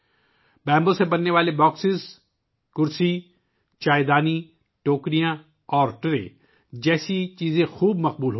بانس سے بننے والے باکس، کرسیاں، چائے کے برتن، ٹوکریاں اور بانس سے بنی ٹرے جیسی چیزیں بہت مقبول ہو رہی ہیں